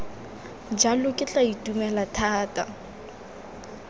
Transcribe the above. jalo ke tla itumela thata